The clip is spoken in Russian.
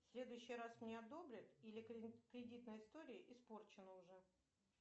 следующий раз мне одобрят или кредитная история испорчена уже